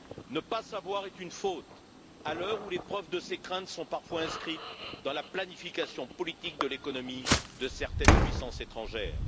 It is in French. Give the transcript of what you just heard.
Ne pas savoir est une faute, à l'heure où les preuves de ces craintes sont parfois inscrites dans la planification politique de l'économie de certaines puissances étrangères.